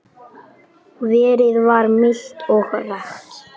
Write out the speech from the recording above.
Veðrið var milt og rakt.